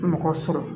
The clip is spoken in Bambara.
Mɔgɔ sɔrɔ